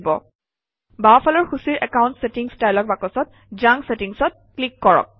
বাওঁফালৰ সূচীৰ account settings dialog বাকচত জাংক চেটিংচত ক্লিক কৰক